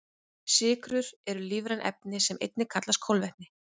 Sykrur eru lífræn efni sem einnig kallast kolvetni.